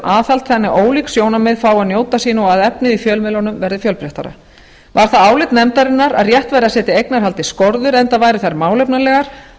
aðhald þannig að ólík sjónarmið fái að njóta sín og að efnið í fjölmiðlunum verði fjölbreyttara varð það álit nefndarinnar að rétt væri að setja eignarhaldi skorður enda væru þær málefnalegar